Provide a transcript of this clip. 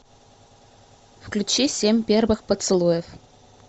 включи семь первых поцелуев